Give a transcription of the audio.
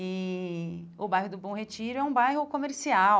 E o bairro do Bom Retiro é um bairro comercial.